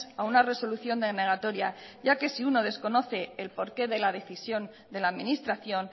a una resolución denegatoria ya que si uno desconoce el porqué de la decisión de la administración